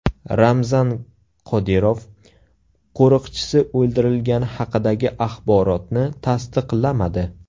Ramzan Qodirov qo‘riqchisi o‘ldirilgani haqidagi axborotni tasdiqlamadi.